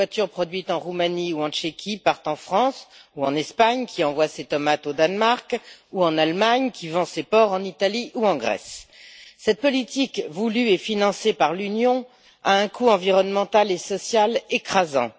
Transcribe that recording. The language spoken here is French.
Les voitures produites en Roumanie ou en République tchèque partent en France ou en Espagne, qui envoie ses tomates au Danemark ou en Allemagne, qui vend ses porcs en Italie ou en Grèce. Cette politique voulue et financée par l'Union a un coût environnemental et social écrasant.